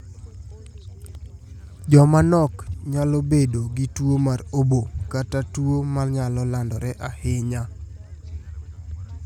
Joma nok nyalo bedo gi tuo mar obo kata tuo ma nyalo landore ahinya.